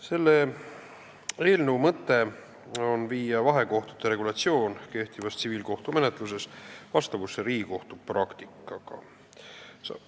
Selle eelnõu mõte on viia vahekohtute regulatsioon kehtivas tsiviilkohtumenetluses vastavusse Riigikohtu praktikaga.